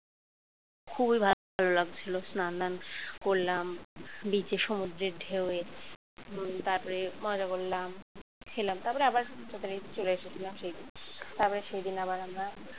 খুবই ভালো লাগছিল স্নান ধান করলাম beach এ সমুদ্রের ঢেউ এ তারপরে মজা করলাম। খেলাম তারপরে আবার তাড়াতাড়ি চলে এসেছিলাম। সেই তারপরে সেদিন আবার আমরা